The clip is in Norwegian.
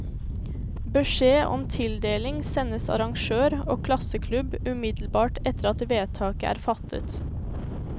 Beskjed om tildeling sendes arrangør og klasseklubb umiddelbart etter at vedtaket er fattet.